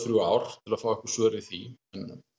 þrjú ár að fá svör við því